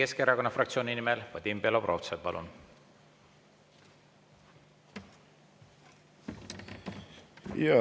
Eesti Keskerakonna fraktsiooni nimel Vadim Belobrovtsev, palun!